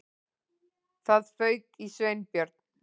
Það fauk í Sveinbjörn.